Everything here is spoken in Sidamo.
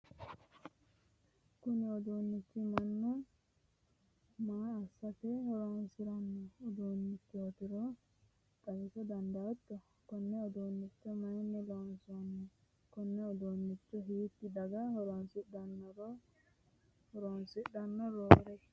kuni uduunichi mannu maa assate horonsiranno uduunnichootiro xawisa dandaatto? konne uduunnicho mayiinni loonsanni? konne uduunnicho hiitti daga horonsidhanno roore ?